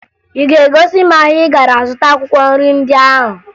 Ị ga-egosi m ahịa ị gara zụta akwụkwọ nri ndị ahụ?